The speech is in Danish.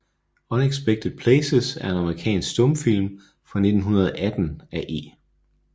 Unexpected Places er en amerikansk stumfilm fra 1918 af E